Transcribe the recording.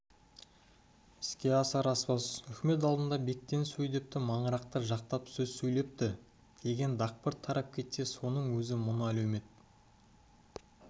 іске асар-аспас үкімет алдында бектен сөйдепті маңырақты жақтап сөз сөйлепті деген дақпырт тарап кетсе соның өзі мұны әлеумет